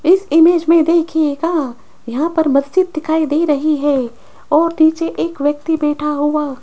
इस इमेज में देखिएगा यहां पर मस्जिद दिखाई दे रही है और नीचे एक व्यक्ति बैठा हुआ --